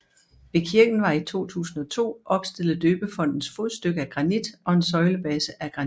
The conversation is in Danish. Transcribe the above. Ved kirken var i 2002 opstillet døbefontens fodstykke af granit og en søjlebase af granit